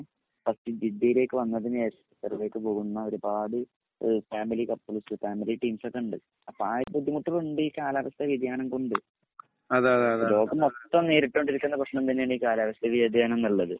first ജിദ്ദീലേക്ക് വന്നതിന് ശേഷം ഖത്തറിലേക്ക് പോകുന്ന ഒരുപാട് ഫാമിലി ക്പ്‌ൾസ് ഫാമിലി ടീമ്സ് ഒക്കെണ്ട് അപ്പൊ ആ ഒരു ബുദ്ധിമുട്ടുകളുണ്ട് ഈ കാലാവസ്ഥ വ്യതിയാനം കൊണ്ട് ലോകം മൊത്തം നേരിട്ടോണ്ടിരിക്കുന്ന പ്രശ്നം തന്നേണ് കാലാവസ്ഥ വ്യതിയാനംനുള്ളത്